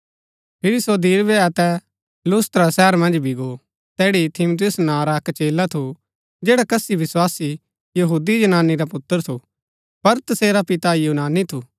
फिरी सो दिरबे अतै लुस्त्रा शहर मन्ज भी गो तैड़ी तीमुथियुस नां रा अक्क चेला थु जैडा कसी विस्वासी यहूदी जनानी रा पुत्र थु पर तसेरा पिता यूनानी थु